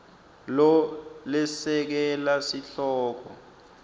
lo lesekela sihloko